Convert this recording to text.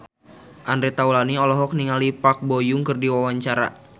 Andre Taulany olohok ningali Park Bo Yung keur diwawancara